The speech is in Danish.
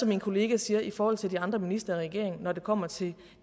min kollega siger i forhold til de andre ministre i regeringen når det kommer til